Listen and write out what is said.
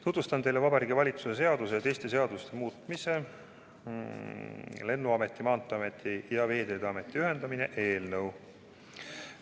Tutvustan teile Vabariigi Valitsuse seaduse ja teiste seaduste muutmise eelnõu.